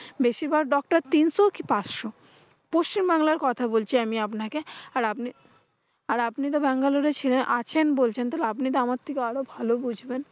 বেশির ভার doctor তিনশো কি পাঁচশো। পশ্চিমবাংলার কথা বলছি আমি আপনাকে আর আপনি আর আপনি তো বেঙ্গালুরু ছিলেন আছেন বলছে তাইলে আপনি তো আমার থেকে ভালো বুঝবেন।